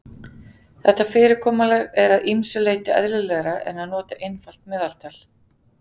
Þetta fyrirkomulag er að ýmsu leyti eðlilegra en að nota einfalt meðaltal.